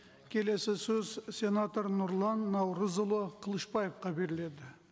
келесі сөз сенатор нұрлан наурызұлы қылышбаевқа беріледі